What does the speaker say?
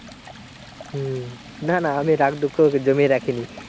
হম না না আমি রাগ দুঃখ জমিয়ে রাখিনি।